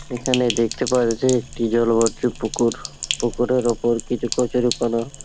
এখানে দেখতে পাওয়া যাছে একটি জলভর্তি পুকুর পুকুরের ওপর কিছু কচুরিপনা।